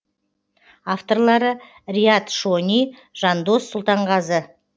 авторлары риат шони жандос сұлтанғазы